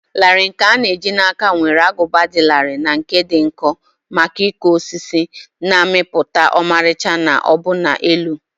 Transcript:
larịị nkè a na eji na áká nwere agụba dị larịị na nke dị nkọ maka ịkpụ osisi, na-amịpụta ọmarịcha na ọbụna elu.